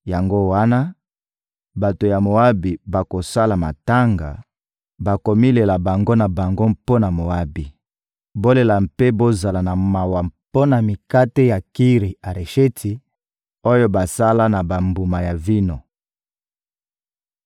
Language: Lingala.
Yango wana, bato ya Moabi bakosala matanga, bakomilela bango na bango mpo na Moabi. Bolela mpe bozala na mawa mpo na mikate ya Kiri-Aresheti, oyo basala na bambuma ya vino.